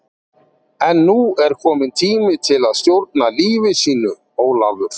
En nú er kominn tími til að stjórna lífi sínu, Ólafur.